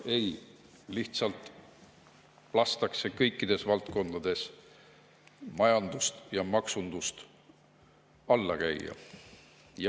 Ei, lihtsalt lastakse kõikides valdkondades majandust ja maksundust alla käia.